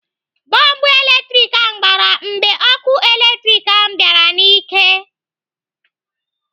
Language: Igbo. Bọlbụ latrik ahụ gbara mgbe ọkụ latrik ahụ bịara n'ike